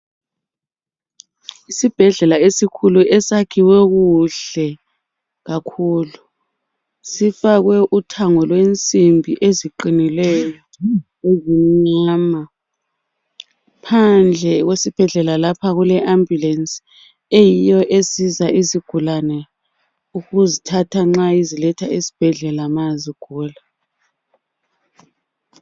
Isibhedlela esikhulu esakhiwe kuhle kakhulu sifakwe uthango lwensimbi eziqinileyo ezimnyama. Phandle kwesibhedlela lapha kule ambulensi eyiyo esiza izigulane ukuzithatha nxa iziletha esibhedlela nxa zigula.